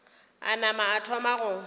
a nama a thoma go